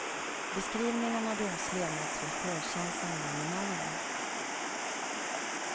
Beskrivningen av deras levnadsvillkor känns ända in i märgen.